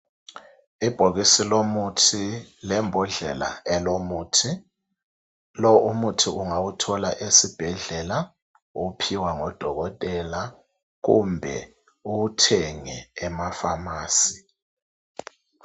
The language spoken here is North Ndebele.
Ibhokisi lomuthi lembhodlela elomuthi, lo umuthi ungawuthola esibhedlela uwuphiwa ngodokotela kumbe uwuthenge ema pharmacy